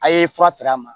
A' ye fura fɛrɛ a ma